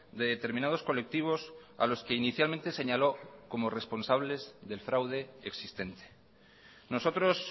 de determinados colectivos a los que inicialmente señaló como responsables del fraude existente nosotros